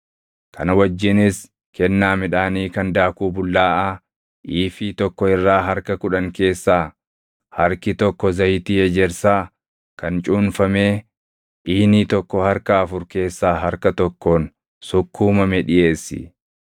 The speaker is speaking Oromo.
Kana wajjinis kennaa midhaanii kan daakuu bullaaʼaa iifii + 28:5 Iifiin tokko kiiloo giraamii 22. tokko irraa harka kudhan keessaa harki tokko zayitii ejersaa kan cuunfamee iinii + 28:5 Iiniin tokko liitirii 3.8. tokko harka afur keessaa harka tokkoon sukkuumame dhiʼeessi.